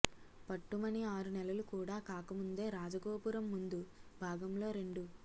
పట్టుమని ఆరునెలలు కూడా కాకముందే రాజగోపురం ముందు భాగంలో రెండు